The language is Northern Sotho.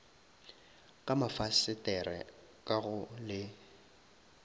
ka mafasetere ka go le